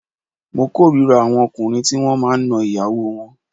Mo k'órira àwọn ọkùnrin tí wọ́n máa ń na ìyàwó wọn